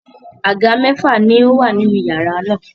Àga mẹ́fà ni ó wà nínú iyàrá náà.